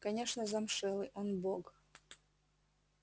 конечно замшелый он бог